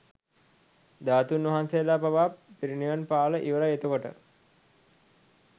ධාතුන් වහන්සේලා පවා පිර්නිවන් පාල ඉවරයි එතකොට.